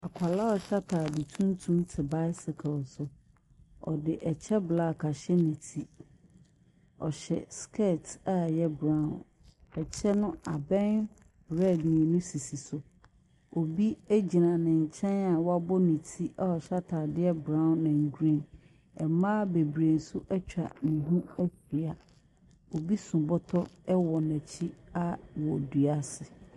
Akɔla a ɔhyɛ ataade tuntum te baesekel so. Ɔde ɛkyɛ blak ahyɛ ne ti. Ɔhyɛ skɛt a ɛyɛ braon. Ɛkyɛ no, aben riɛd mmienu sisi so. Obi egyina ne nkyɛn a wabo ne ti a hyɛ ataade braon ɛn griin. Mmaa beberee nso etwa ne ho ahyia. Obi so bɔtɔ ɛwɔ n'akyi wo dua ase.